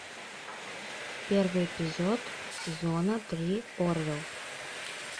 первый эпизод сезона три орвилл